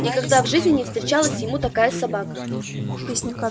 никогда в жизни не встречалась ему такая собака